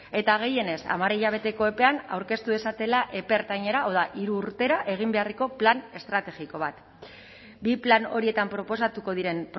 eta gehienez hamar hilabeteko epean aurkeztu dezatela epe ertainera hau da hiru urtera egin beharreko plan estrategiko bat bi plan horietan proposatuko diren